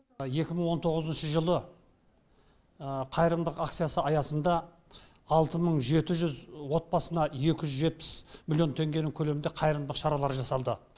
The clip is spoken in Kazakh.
екі мың он тоғызыншы жылы қайырымдылық акциясы аясында алты мың жеті жүз отбасына екі жүз жетпіс миллион теңгенің көлемінде қайырымдылық шаралары жасалды